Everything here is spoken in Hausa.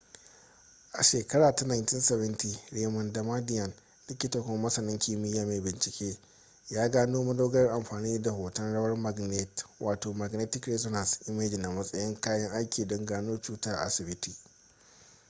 a shekara ta 1970 raymond damadian likita kuma masanin kimiyya mai bincike ya gano madogarar amfani da hton rawar magnet wato magnetic resonance imaging a matsayin kayan aiki don gano cuta a asibiti